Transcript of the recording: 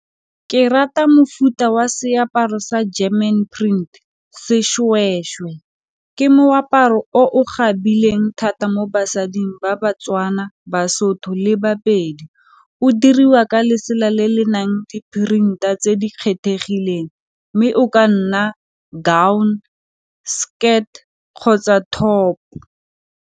Ke rata mofuta wa seaparo sa German print sešwešwe, ke moaparo o o tkgabileng thata mo basading ba Batswana, Basotho le Bapedi. O diriwa ka lesela le le nang di-printer tse di kgethegileng mme o ka nna gown, skirt kgotsa top.